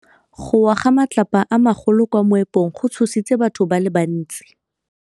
Go wa ga matlapa a magolo ko moepong go tshositse batho ba le bantsi.